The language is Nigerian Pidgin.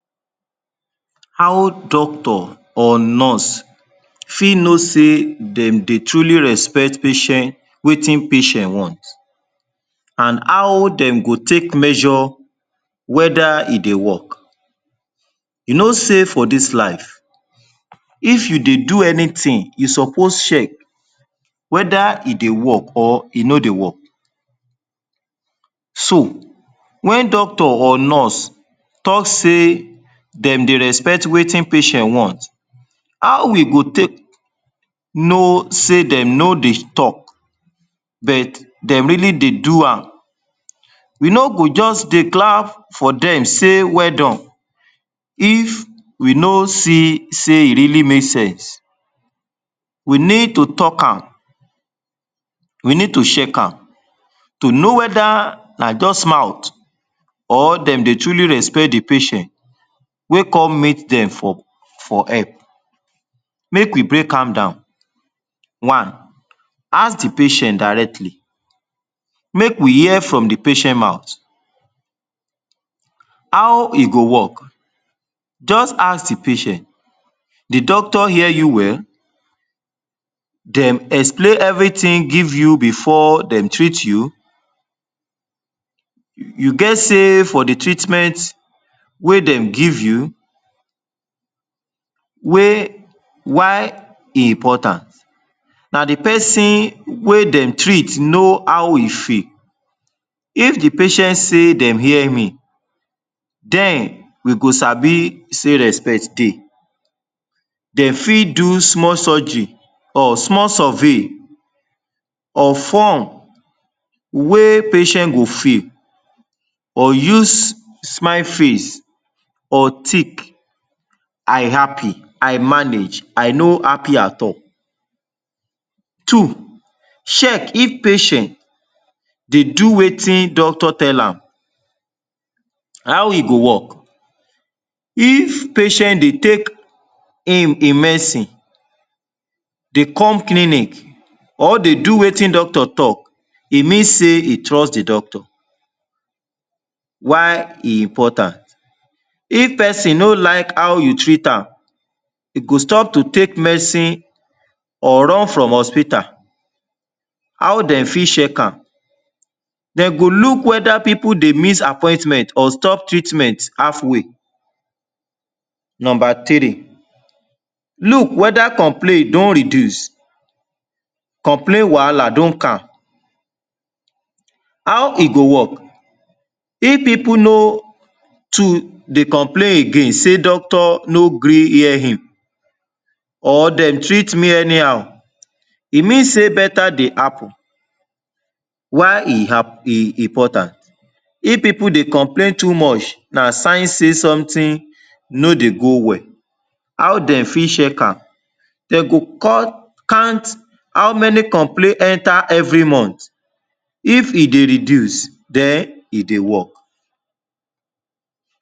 How doctor or nurse fit know sey dem dey truly respect patient, wetin patient want and how dem go take measure whether e dey work? You know sey for dis life, if you dey do anything you suppose check whether e dey work or e no dey work. So wen doctor or nurse talk say dem dey respect wetin patient want, how we go take know sey dem no dey talk but dem really dey do am. We no go just dey clap for dem sey, “weldone” if we no see sey e really make sense. We need to talk am, we need to check am to know whether na just mouth or dem dey truly respect the patient wey come meet dem for for help. Make we break am down. One, ask the patient directly, make we hear from the patient mouth. How e go work? Just ask the patient, “the doctor hear you well, dem explain everything give you before dem treat you? you you get say for the treatment wey dem give you?” Wey, why e important? Na the person wey dem treat know how e feel. If the patient say dem hear me den we go sabi say respect dey. Dem fit do small surgery or small survey or form wey patient go fill or use smile face or thick “I happy, I manage, I no happy at all”. Two, check if patient dey do wetin doctor tell am. How e go work? If patient dey take im im medicine, dey come clinic or dey do wetin doctor talk, e mean say e trust the doctor. Why e important? If person no like how you treat am, e go stop to take medicine or run from hospital. How dey fit check am? Dey go look whether people dey miss appointment or stop treatment halfway. Number three, look whether complain don reduce, complain wahala don calm. How e go work? If people no too dey complain again say, “doctor no gree hear him” or “dem treat me anyhow” e mean sey better dey happen. Why e? e important? If people dey complain too much na sign say something no dey go well. How dem fit check am? Dey go? count how many complaints enter every month. If e dey reduce, den e dey work.